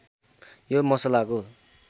यो मसलाको